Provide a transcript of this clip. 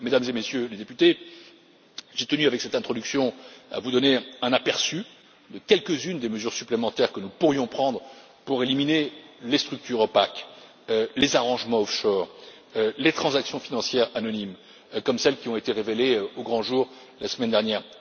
Mesdames et Messieurs les députés, j'ai tenu avec cette introduction à vous donner un aperçu de quelques unes des mesures supplémentaires que nous pourrions prendre pour éliminer les structures opaques, les arrangements offshore et les transactions financières anonymes, comme celles qui ont été révélées au grand jour la semaine dernière.